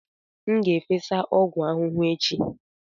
M ga-efesa ọgwụ ahụhụ echi.